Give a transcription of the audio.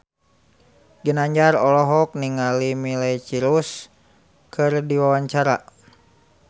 Ginanjar olohok ningali Miley Cyrus keur diwawancara